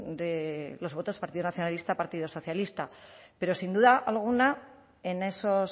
de los votos del partido nacionalista partido socialista pero sin duda alguna en esos